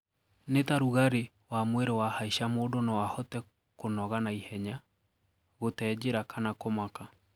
Nita rugarii wa mwiri wahaicaa mundũ noo ahote kũnoga naihenya, gutee njira kana kũmaka.